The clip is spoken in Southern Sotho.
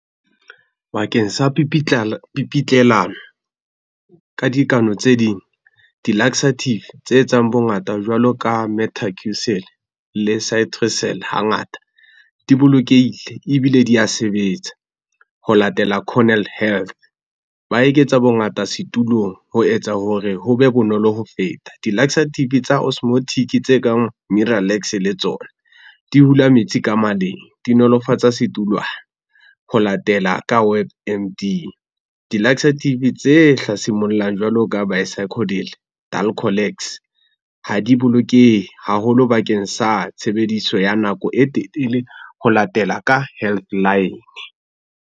Bakeng sa pipitlelano ka dikano tse ding. Di-laxative tse etsang bongata jwalo ka hangata di bolokehile ebile di a sebetsa ho latela . Ba eketsa bongata setulong ho etsa hore ho be bonolo ho feta. Di-laxative tsa tse kang le tsona di hula metsi ka maleng, di nolofatsa ho latela ka web . Di-laxative tse hlasimollang jwalo ka ha di bolokehe haholo bakeng sa tshebediso ya nako e telele ho latela ka health line.